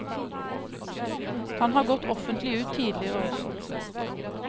Han har gått offentlig ut tidligere også.